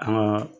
An ka